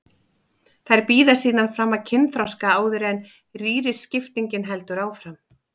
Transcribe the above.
Þær bíða síðan fram að kynþroska áður en rýriskiptingin heldur áfram.